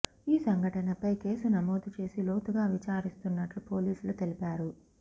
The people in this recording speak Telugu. ఈ సంఘటనపై కేసు నమోదు చేసి లోతుగా విచారిస్తున్నట్లు పోలీసులు తెలిపారు